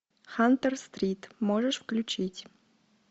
хантер стрит можешь включить